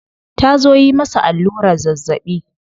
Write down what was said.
Ta zo yi masa allurar zazzabi.